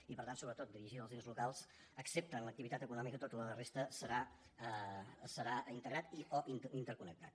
i per tant sobretot dirigit als ens locals excepte en l’activitat econòmica tota la resta serà integrat i o interconnectat